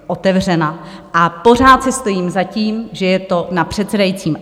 A pořád si stojím za tím, že je to na předsedajícím.